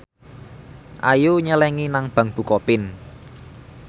Ayu nyelengi nang bank bukopin